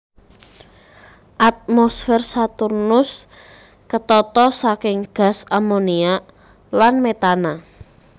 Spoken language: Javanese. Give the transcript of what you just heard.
Atmosfer Saturnus ketata saking gas amoniak lan metana